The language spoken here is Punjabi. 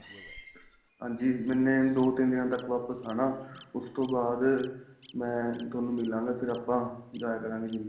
ਹਾਂਜੀ ਮੈਨੇ ਦੋ ਤਿੰਨ ਦਿਨਾਂ ਤੱਕ ਵਾਪਿਸ ਆਣਾ ਉਸ ਤੋ ਬਾਅਦ ਮੈਂ ਤੁਹਾਨੂੰ ਮਿਲਾਗਾ ਫ਼ਿਰ ਆਪਾਂ ਜਾਇਆ ਕਰਾਗੇ GYM